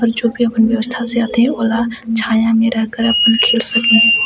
छोट छोट व्यवस्था से आत है और है छाँया में रहकर आपना खेल सके है।